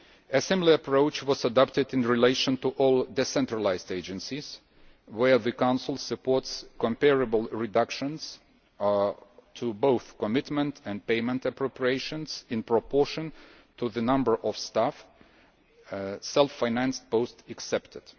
A similar approach was adopted in relation to all decentralised agencies, where the Council supports comparable reductions in both commitment and payment appropriations in proportion to the number of staff, self financed posts excepted.